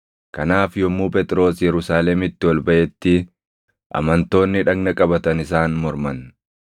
Kanaaf yommuu Phexros Yerusaalemitti ol baʼetti amantoonni dhagna qabatan isaan morman;